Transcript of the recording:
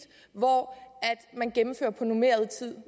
hvor man gennemfører på normeret tid